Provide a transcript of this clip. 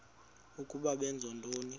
ukuba benza ntoni